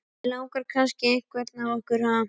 Þig langar kannski í einhvern af okkur, ha?